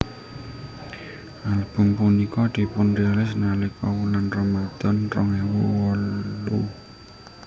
Album punika dipunrilis nalika wulan Ramadhan rong ewu wolu